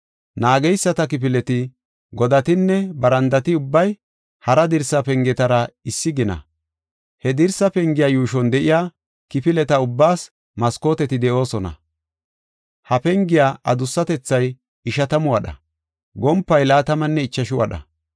Naageyisata kifileti, godatinne barandati ubbay hara dirsa pengetara issi gina. He dirsa pengiya yuushon de7iya kifileta ubbaas maskooteti de7oosona. Ha pengiya adussatethay ishatamu wadha; gompay laatamanne ichashu wadha.